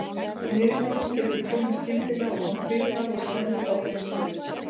Niðurgangur getur komið skyndilega og án fyrirvara og stendur þá oftast stutt.